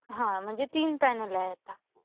हां. म्हणजे तीन पॅनल आहे आता.